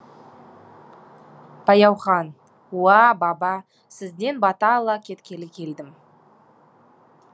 баяухан уа баба сізден бата ала кеткелі келдім